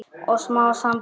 Og smám saman breyt